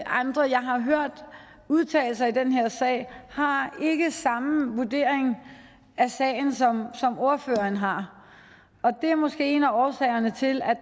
andre jeg har hørt udtale sig i den her sag har ikke den samme vurdering af sagen som ordføreren har og det er måske en af årsagerne til at